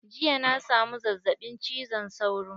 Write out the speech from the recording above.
Jiya na samu zazzaɓin cizon sauro.